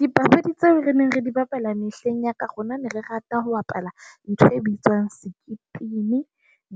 Dipapadi tseo re neng re di bapala mehleng ya ka, rona ne re rata ho bapala ntho e bitswang sekipini,